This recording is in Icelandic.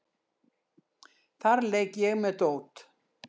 Þar leik ég með dót.